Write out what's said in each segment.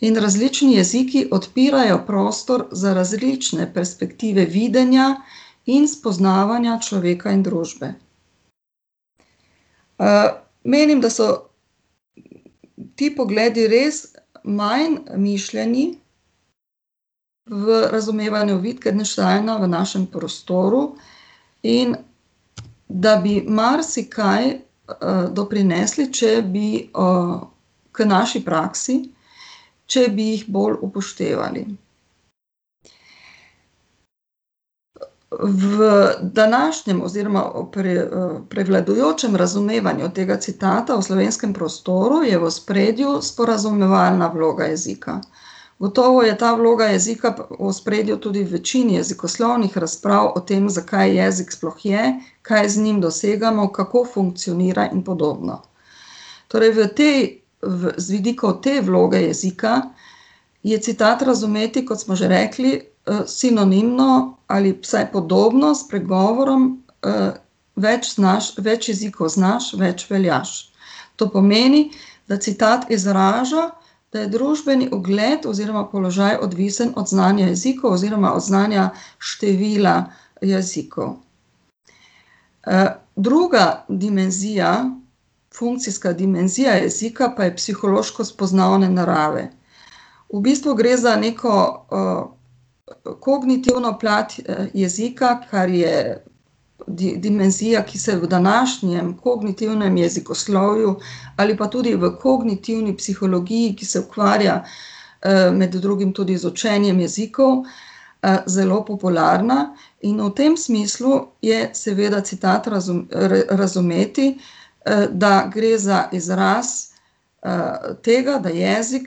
In različni jeziki odpirajo prostor za različne perspektive videnja in spoznavanja človeka in družbe. menim, da so ti pogledi res manj mišljeni v razumevanju Wittgensteina v našem prostoru in da bi marsikaj, doprinesli, če bi, k naši praksi, če bi jih bolj upoštevali. v današnjem oziroma prevladujočem razumevanju tega citata v slovenskem prostoru je v ospredju sporazumevalna vloga jezika. Gotovo je ta vloga jezika v ospredju tudi v večini jezikovnih razprav o tem, zakaj jezik sploh je, kaj z njim dosegamo, kako funkcionira in podobno. Torej v tej, z vidika te vloge jezika je citat razumeti, kot smo že rekli, sinonimno ali vsaj podobno s pregovorom, "Več znaš, več jezikov znaš, več veljaš." To pomeni, da citat izraža, da je družbeni ugled oziroma položaj odvisen od znanja jezikov oziroma od znanja števila jezikov. druga dimenzija, funkcijska dimenzija jezika pa je psihološko-spoznavne narave. V bistvu gre za neko, kognitivno plat jezika, kar je dimenzija, ki se v današnjem kognitivnem jezikoslovju ali pa tudi v kognitivni psihologiji, ki se ukvarja, med drugim tudi z učenjem jezikov, zelo popularna, in v tem smislu je seveda citat razumeti, da gre za izraz, tega, da jezik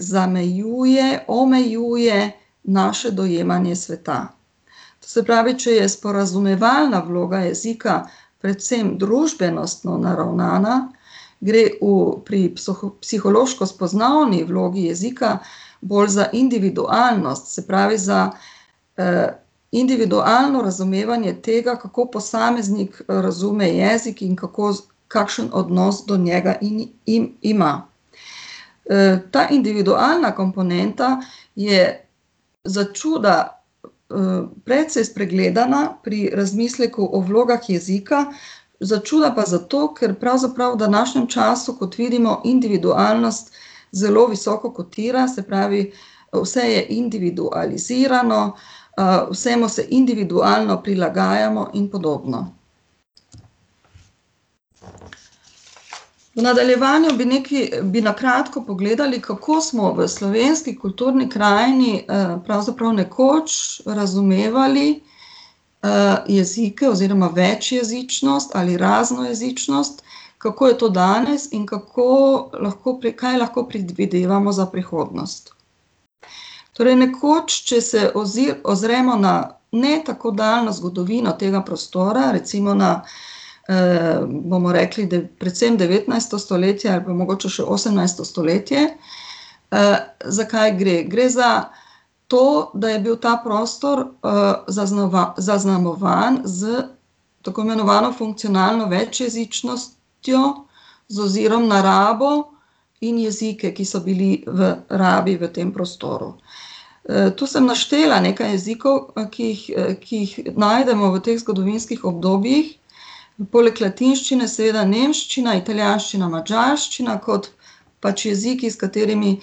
zamejuje, omejuje naše dojemanje sveta. Se pravi, če je sporazumevalna vloga jezika predvsem družbenostno naravnana, gre v, pri psihološko-spoznavni vlogi jezika bolj za individualnost, se pravi za, individualno razumevanje tega, kako posameznik razume jezik in kako kakšen odnos do njega ima. ta individualna komponenta je začuda, precej spregledana pri razmisleku o vlogah jezika, začuda pa zato, ker pravzaprav v današnjem času, kot vidimo, individualnost zelo visoko kotira, se pravi vse je individualizirano, vsemu se individualno prilagajamo in podobno. V nadaljevanju bi nekaj, bi na kratko pogledali, kako smo v slovenski kulturni krajini, pravzaprav nekoč razumevali, jezike oziroma večjezičnost ali raznojezičnost, kako je to danes in kako lahko kaj lahko predvidevamo za prihodnost. Torej nekoč, če se ozremo na ne tako daljno zgodovino tega prostora, recimo na, bomo rekli, predvsem devetnajsto stoletje ali pa mogoče še osemnajsto stoletje, za kaj gre. Gre za to, da je bil ta prostor, zaznamovan s tako imenovano funkcionalno večjezičnostjo, z ozirom na rabo in jezike, ki so bili v rabi v tem prostoru. to sem naštela nekaj jezikov, ki jih, ki jih najdemo v teh zgodovinskih obdobjih, poleg latinščine seveda nemščina, italijanščina, madžarščina kot pač jeziki, s katerimi,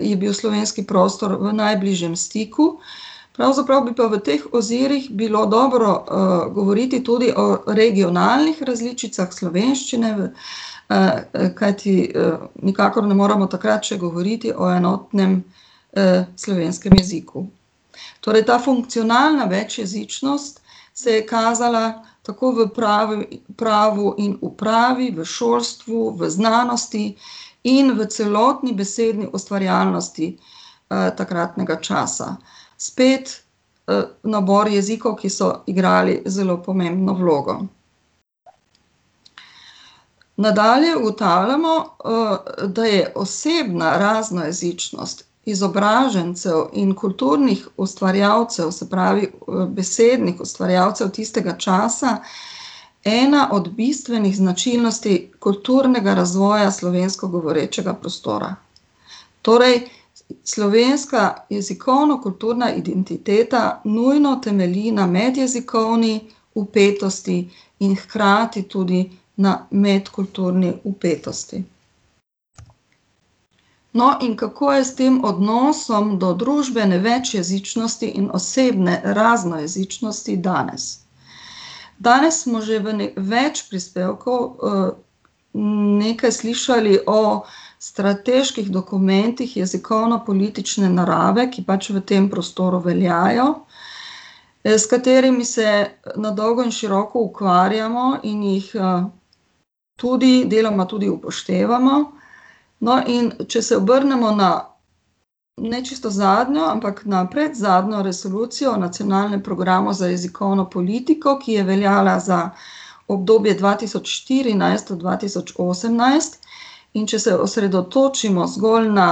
je bil slovenski prostor v najbližjem stiku. Pravzaprav bi pa v teh ozirih bilo dobro, govoriti tudi o regionalnih različicah slovenščine v, kajti, nikakor ne moremo takrat še govoriti o enotnem, slovenskem jeziku. Torej ta funkcionalna večjezičnost se je kazala tako v pravu in upravi, v šolstvu, v znanosti in v celotni besedni ustvarjalnosti, takratnega časa. Spet, nabor jezikov, ki so igrali zelo pomembno vlogo. Nadalje ugotavljamo, da je osebna raznojezičnost izobražencev in kulturnih ustvarjalcev, se pravi, besednih ustvarjalcev tistega časa, ena od bistvenih značilnosti kulturnega razvoja slovensko govorečega prostora. Torej slovenska jezikovno-kulturna identiteta nujno temelji na medjezikovni vpetosti in hkrati tudi na medkulturni vpetosti. No, in kako je s tem odnosom do družbene večjezičnosti in osebne raznojezičnosti danes? Danes smo že v več prispevkov, nekaj slišali o strateških dokumentih jezikovnopolitične narave, ki pač v tem prostoru veljajo, s katerimi se na dolgo in široko ukvarjamo in jih tudi, deloma tudi upoštevamo. No, in če se obrnemo na ne čisto zadnjo, ampak na predzadnjo resolucijo nacionalnega programa za jezikovno politiko, ki je veljala za obdobje dva tisoč štirinajst do dva tisoč osemnajst, in če se osredotočimo zgolj na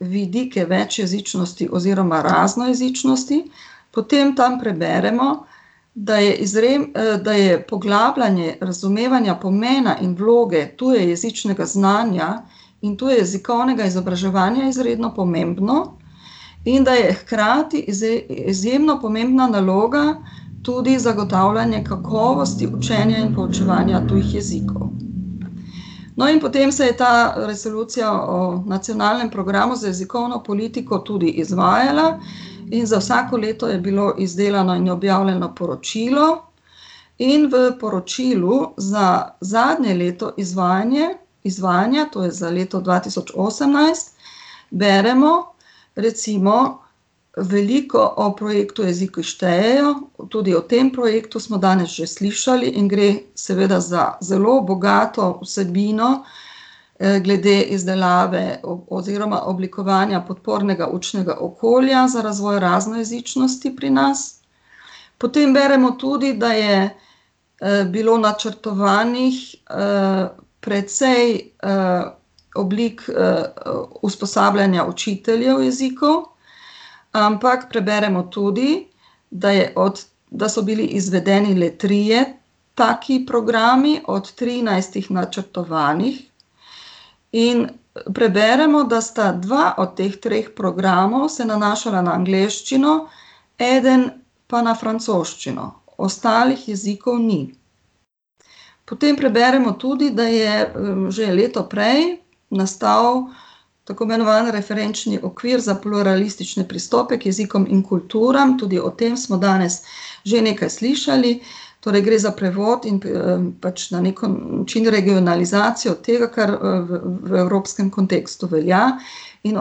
vidike večjezičnosti oziroma raznojezičnosti, potem tam preberemo, da je da je poglabljanje razumevanja pomena in vloge tujejezičnega znanja in tujejezikovnega izobraževanja izredno pomembno in da je hkrati izjemno pomembno naloga tudi zagotavljanje kakovosti učenja in poučevanja tujih jezikov. No, in potem se je ta, resolucija o nacionalnem programu za jezikovno politiko tudi izvajala in za vsako leto je bilo izdelano in objavljeno poročilo in v poročilu za zadnje leto izvajanje, izvajanja, to je za leto dva tisoč osemnajst, beremo recimo veliko o projektu Jeziki štejejo, tudi o tem projektu smo danes že slišali in gre seveda za zelo bogato vsebino, glede izdelave oziroma oblikovanja podpornega učnega okolja za razvoj raznojezičnosti pri nas. Potem beremo tudi, da je, bilo načrtovanih, precej, oblik, usposabljanja učiteljev jezikov, ampak preberemo tudi, da je da so bili izvedeni le trije taki programi od trinajstih načrtovanih. In preberemo, da sta dva od teh treh programov se nanašala na angleščino, eden pa na francoščino, ostalih jezikov ni. Potem preberemo tudi, da je, že leto prej nastal tako imenovan referenčni okvir za pluralistične pristope k jezikom in kulturam, tudi o tem smo danes že nekaj slišali. Torej gre za prevod in pač na neki način regionalizacijo tega, kar, v evropskem kontekstu velja, in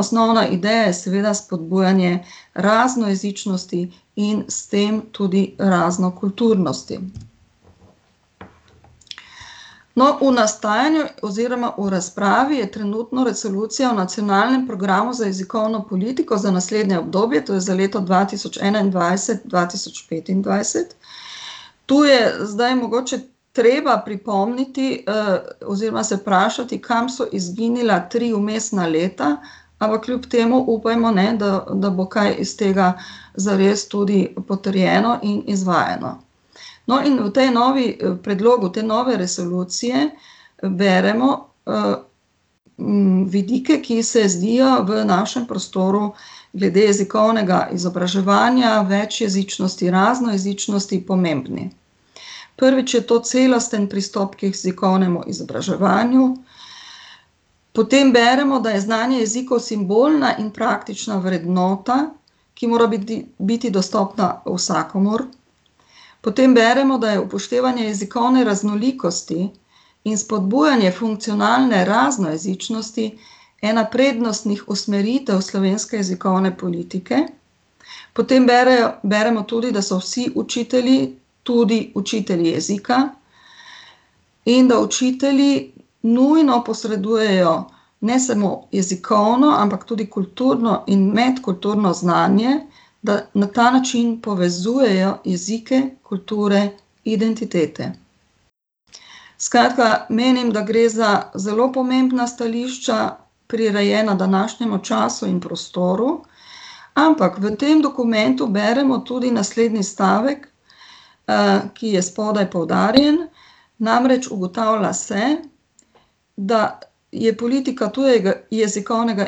osnovna ideja je seveda spodbujanje raznojezičnosti in s tem tudi raznokulturnosti. No, v nastajanju oziroma v razpravi je trenutno resolucija o nacionalnem programu za jezikovno politiko za naslednje obdobje, to je za leto dva tisoč enaindvajset-dva tisoč petindvajset. Tu je zdaj mogoče treba pripomniti, oziroma se vprašati, kam so izginila tri vmesna leta, ampak kljub temu upajmo, ne, da, da bo kaj iz tega zares tudi potrjeno in izvajano. No, in v tem novem, predlogu te nove resolucije beremo, vidike, ki se zdijo v našem prostoru glede jezikovnega izobraževanja večjezičnosti, raznojezičnosti pomembni. Prvič je to celostni pristop k jezikovnemu izobraževanju, potem beremo, da je znanje jezikov simbolna in praktična vrednota, ki mora biti dostopna vsakomur. Potem beremo, da je upoštevanje jezikovne raznolikosti in spodbujanje funkcionalne raznojezičnosti ena prednostnih usmeritev slovenske jezikovne politike. Potem beremo, beremo tudi, da so vsi učitelji tudi učitelji jezika in da učitelji nujno posredujejo ne samo jezikovno, ampak tudi kulturno in medkulturno znanje, da na ta način povezujejo jezike, kulture, identitete. Skratka, menim, da gre za zelo pomembna stališča, prirejena današnjemu času in prostoru, ampak v tem dokumentu beremo tudi naslednji stavek, ki je spodaj poudarjen, namreč ugotavlja se, da je politika tujega jezikovnega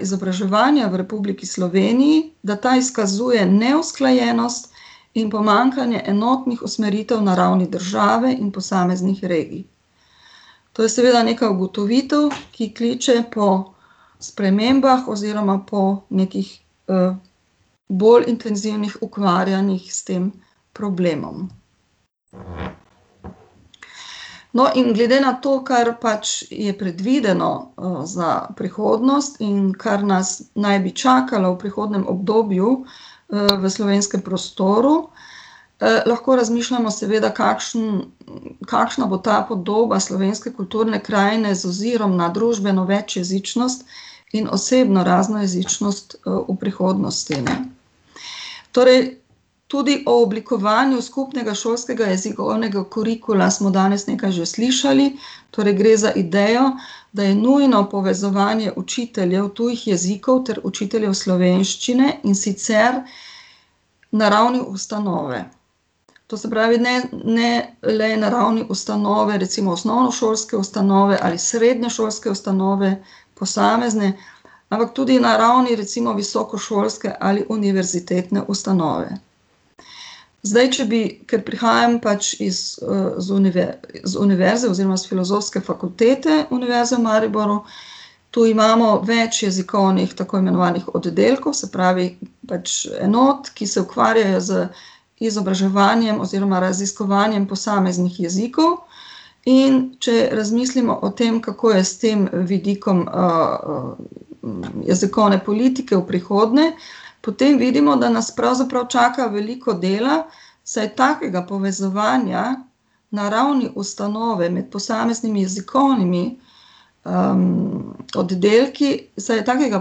izobraževanja v Republiki Sloveniji, da ta izkazuje neusklajenost in pomanjkanje enotnih usmeritev na ravni države in posameznih regij. To je seveda neka ugotovitev, ki kličejo po spremembah oziroma po nekih, bolj intenzivnih ukvarjanjih s tem problemom. No, in glede na to, kar pač je predvideno, za prihodnost in kar nas naj bi čakalo v prihodnjem obdobju v slovenskem prostoru, lahko razmišljamo, seveda, kakšen, kakšna bo ta podoba slovenske kulturne krajine z ozirom na družbeno večjezičnost in osebno raznojezičnost, v prihodnosti, ne. Torej tudi o oblikovanju skupnega šolskega jezikovnega kurikula smo danes nekaj že slišali, torej gre za idejo, da je nujno povezovanje učiteljev tujih jezikov ter učiteljev slovenščine, in sicer na ravni ustanove. To se pravi, ne, ne le na ravni ustanove, recimo osnovnošolske ustanove ali srednješolske ustanove, posamezne, ampak tudi na ravni recimo visokošolske ali univerzitetne ustanove. Zdaj, če bi, ker prihajam pač iz, z z univerze oziroma s Filozofske fakultete Univerze v Mariboru, tu imamo več jezikovnih tako imenovanih oddelkov, se pravi, pač enot, ki se ukvarjajo z izobraževanjem oziroma raziskovanjem posameznih jezikov. In če razmislimo o tem, kako je s tem vidikom, jezikovne politike v prihodnje, potem vidimo, da nas pravzaprav čaka veliko dela, saj takega povezovanja na ravni ustanove med posameznimi jezikovnimi, oddelki ... Saj je takega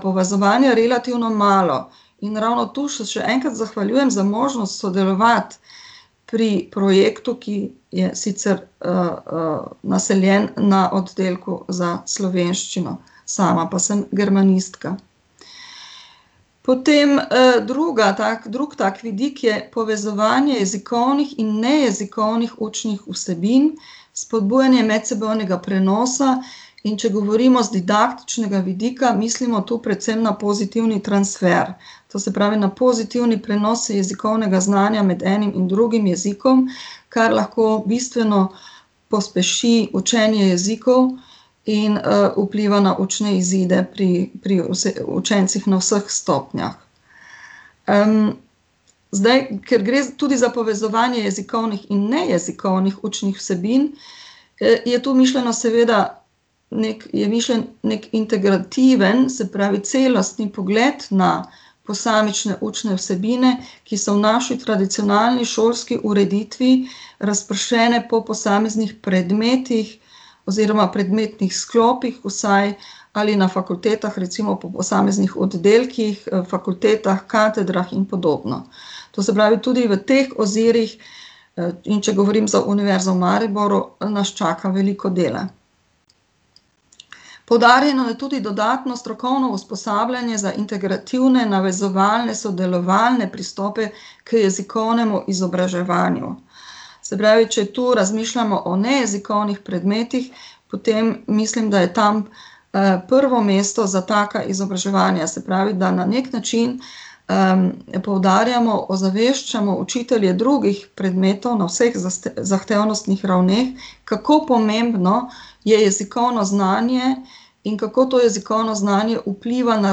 povezovanja relativno malo. In ravno to se še enkrat zahvaljujem za možnost sodelovati pri projektu, ki je sicer, naseljen na oddelku za slovenščino, sama pa sem germanistka. Potem, druga drugi tak vidik je povezovanje jezikovnih in nejezikovnih učnih vsebin, spodbujanje medsebojnega prenosa, in če govorimo z didaktičnega jezika, mislimo to predvsem na pozitivni transfer. To se pravi na pozitivni prenos jezikovnega znanja med enim in drugim jezikom, kar lahko bistveno pospeši učenje jezikov in, vpliva na učne izide pri, pri učencih na vseh stopnjah. zdaj, ker gre tudi za povezovanje jezikovnih in nejezikovnih učnih vsebin, je to mišljeno seveda je mišljen neki integrativni, se pravi celostni pogled na posamične učne vsebine, ki so v naši tradicionalni šolski ureditvi razpršene po posameznih predmetih oziroma predmetnih sklopih vsaj ali na fakultetah, recimo, po posameznih oddelkih, fakultetah, katedrah in podobno. To se pravi, tudi v teh ozirih, in če govorim za Univerzo v Mariboru, nas čaka veliko dela. Poudarjeno je tudi dodatno strokovno usposabljanje za integrativne, navezovalne, sodelovalne pristope k jezikovnemu izobraževanju. Se pravi, če tu razmišljamo o nejezikovnih predmetih, potem mislim, da je tam, prvo mesto za taka izobraževanja, se pravi, da na neki način, poudarjamo, ozaveščamo učitelje drugih predmetov na vseh zahtevnostnih ravneh, kako pomembno je jezikovno znanje in kako to jezikovno znanje vpliva na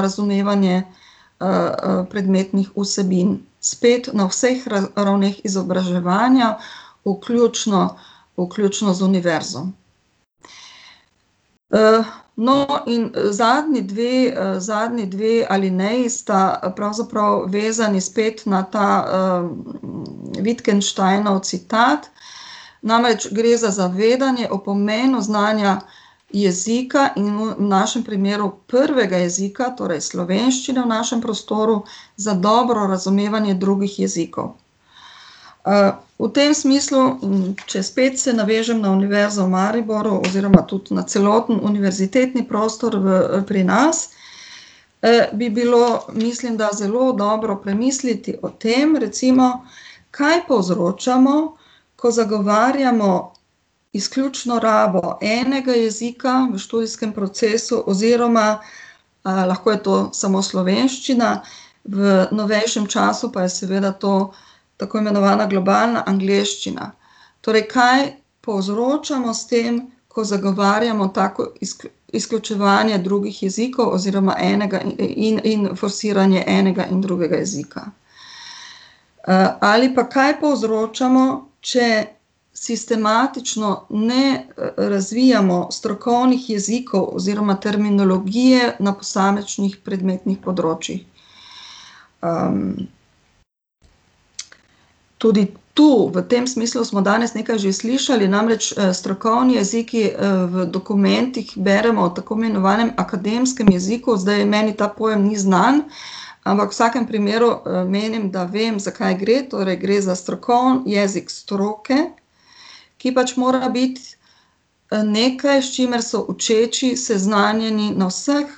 razumevanje, predmetnih vsebin, spet na vseh ravneh izobraževanja, vključno, vključno z univerzo. no, in, zadnji dve, zadnji dve alineji sta pravzaprav vezani spet na ta, Wittgensteinov citat, namreč gre za zavedanje o pomenu znanja jezika in v našim primeru prvega jezika, torej slovenščine v našem prostoru, za dobro razumevanje drugih jezikov. v tem smislu, če spet se navežem na Univerzo v Mariboru oziroma tudi na celoten univerzitetni prostor v, pri nas, bi bilo, mislim, da zelo dobro premisliti o tem, recimo, kaj povzročamo, ko zagovarjamo izključno rabo enega jezika v študijskem procesu oziroma, lahko je to samo slovenščina, v novejšem času pa je seveda to tako imenovana globalna angleščina. Torej kaj povzročamo s tem, ko zagovarjamo tako izključevanje drugih jezikov oziroma enega in forsiranje enega in drugega jezika. ali pa kaj povzročamo, če sistematično ne razvijamo strokovnih jezikov oziroma terminologije na posamičnih predmetnih področjih. ... Tudi tu, v tem smislu smo danes nekaj že slišali, namreč, strokovni jeziki, v dokumentih beremo v tako imenovanem akademskem jeziku, zdaj meni ta pojem ni znan, ampak v vsakem primeru, menim, da vem, za kaj gre, torej gre za strokovni jezik, jezik stroke, ki je pač morala biti, nekaj, s čimer so učeči seznanjeni na vseh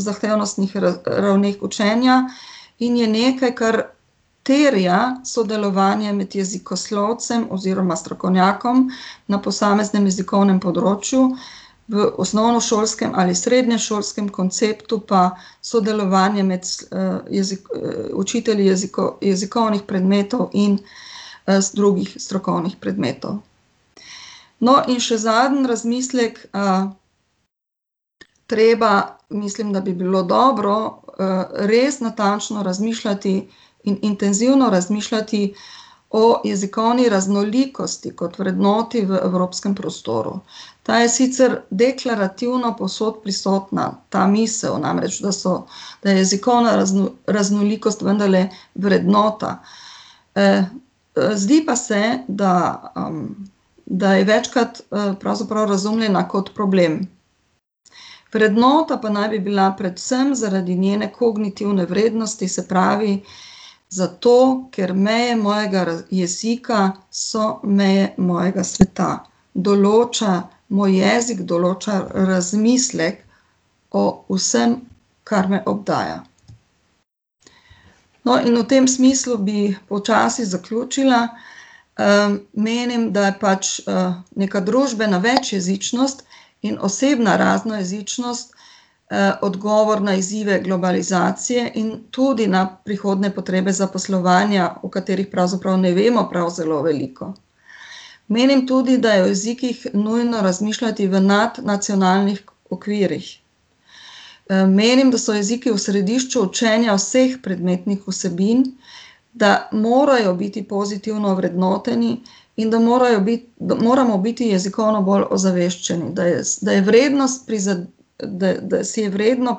zahtevnostnih ravneh učenja in je nekaj, kar terja sodelovanje med jezikoslovcem oziroma strokovnjakom na posameznem jezikovnem področju, v osnovnošolskem ali srednješolskem konceptu pa sodelovanje med učitelji jezikovnih predmetov in, drugih strokovnih predmetov. No, in še zadnji razmislek, ... Treba, mislim, da bi bilo dobro, res natančno razmišljati, intenzivno razmišljati o jezikovni raznolikosti kot vrednoti v evropskem prostoru. Ta je sicer deklarativno povsod prisotna, ta misel namreč, da so, da je jezikovna raznolikost vendarle vrednota. zdi pa se, da, da je večkrat, pravzaprav razumljena kot problem. Vrednota pa naj bi bila predvsem zaradi njene kognitivne vrednosti, se pravi zato, ker meje mojega jezika so meje mojega sveta. Določa, moj jezik določa razmislek o vsem, kar me obdaja. No, in v tem smislu bi počasi zaključila, menim, da je pač, neka družbena večjezičnost in osebna raznojezičnost, odgovor na izzive globalizacije in tudi na prihodnje potrebe zaposlovanja, o katerih pravzaprav ne vemo prav zelo veliko. Menim tudi, da je o jezikih nujno razmišljati v nadnacionalnih okvirih. menim, da so jeziki v središču učenja vseh predmetnih vsebin, da morajo biti pozitivno vrednoteni in da morajo da moramo biti jezikovno bolj ozaveščeni, da je da je vrednost ... Da, da si je vredno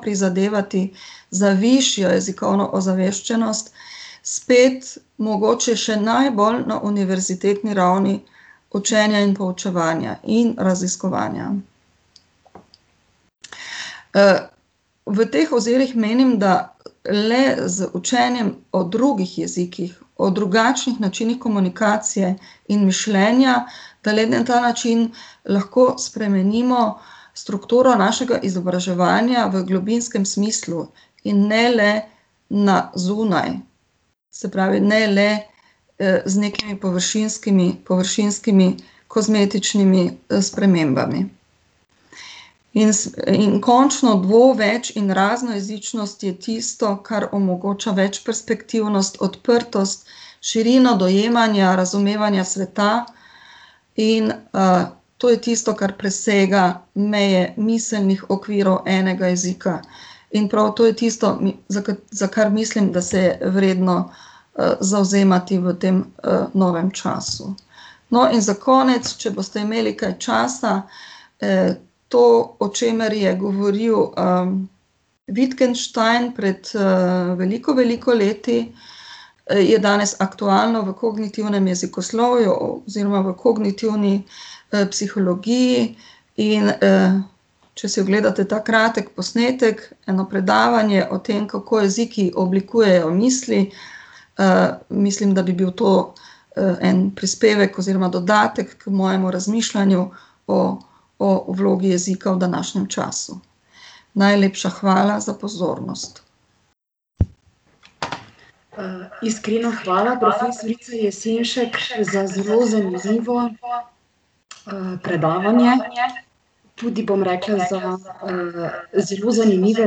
prizadevati za višjo jezikovno ozaveščenost, spet mogoče še najbolj na univerzitetni ravni učenja in poučevanja in raziskovanja. v teh ozirih menim, da le z učenjem o drugih jezikih, o drugačnih načinih komunikacije in mišljenja, da le na ta način lahko spremenimo strukturo našega izobraževanja v globinskem smislu in ne le na zunaj, se pravi, ne le, z nekimi površinskimi, površinskimi kozmetičnimi, spremembami. In in končno bo več- in raznojezičnost je tisto, kar omogoča večperspektivnost, odprtost, širino dojemanja, razumevanja sveta, in, to je tisto, kar presega meje miselnih okvirov enega jezika. In prav to je tisto, za kar mislim, da se je vredno, zavzemati v tem, novem času. No, in za konec, če boste imeli kaj časa, to, o čemer je govoril, Wittgenstein pred, veliko, veliko leti, je danes aktualno v kognitivnem jezikoslovju oziroma v kognitivni, psihologiji, in, če si ogledate ta kratki posnetek, eno predavanje o tem, kako jeziki oblikujejo misli, mislim, da bi bil to, en prispevek oziroma dodatek k mojemu razmišljanju o, o vlogi jezika v današnjem času. Najlepša hvala za pozornost. iskrena hvala profesorici Jesenšek za zelo zanimivo, predavanje. Tudi bom rekla za, zelo zanimive